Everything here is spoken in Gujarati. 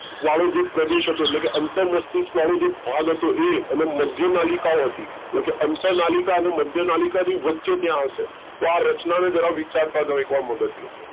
વાળો જે પ્રદેશ હતો એટલે કે અંતન મસ્તિષ્ક વાળો જે ભાગ હતો એ અને મધ્ય નાલિકાઓ હતી એટલે કે અંતન નાલિકા અને મધ્ય નાલિકા ની વચ્ચે ત્યાં આવશે તો આ રચનાને જરા વિચારતા જાઓ એકવાર મગજ ની અંદર